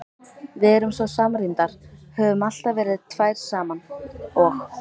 Við erum svo samrýmdar, höfum alltaf verið tvær saman og.